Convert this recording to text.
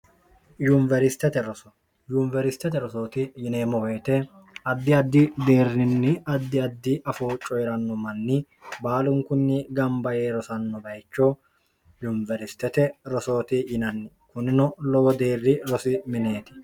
ryunweristete rosooti yineemmoweete addi addi deerrinni addi addi afoo coyi'ranno manni baalunkunni gamba yee rosanno bayicho yunweristete rosooti yinanni kunnino lowo deerri rosi mineeti